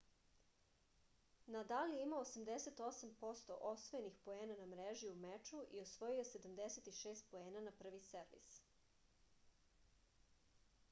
nadal je imao 88% osvojenih poena na mreži u meču i osvojio je 76 poena na prvi servis